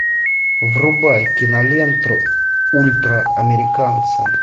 врубай киноленту ультраамериканцы